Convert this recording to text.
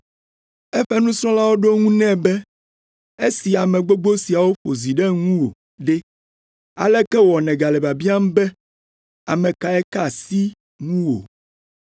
Eƒe nusrɔ̃lawo ɖo eŋu nɛ be, “Esi ame gbogbo siawo ƒo zi ɖe ŋuwò ɖe, aleke wɔ nègale biabiam be ame kae ka asi ŋuwò?”